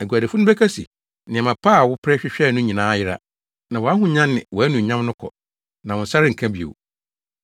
“Aguadifo no bɛka se, ‘Nneɛma pa a wopere hwehwɛe no nyinaa ayera, na wʼahonya ne wʼanuonyam no kɔ, na wo nsa renka bio.’